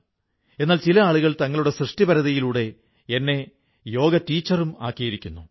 എന്നാൽ ചില ആളുകൾ തങ്ങളുടെ സൃഷ്ടിപരതയിലൂടെ എന്നെ യോഗ ടീച്ചറും ആക്കിയിരിക്കുന്നു